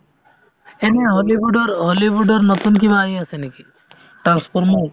সেইবুলি হলিউডৰ হলিউডৰ নতুন কিবা আহি আছে নেকি transformers ৰ